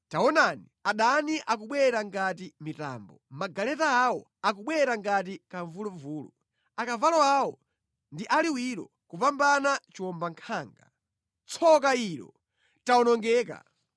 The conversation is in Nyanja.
Taonani, adani akubwera ngati mitambo, magaleta awo akubwera ngati kamvuluvulu, akavalo awo ndi aliwiro kupambana chiwombankhanga. Tsoka ilo! Tawonongeka!